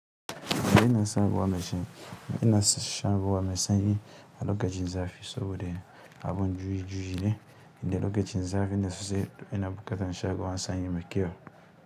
Ina son ruwa mai sanyi, ina son shan ruwa mai sanyi, a lokacin zafi saboda abin juyi-juyi ne, da lokacin zafine sosai ina buƙatar shan ruwan sanyi mai kyau.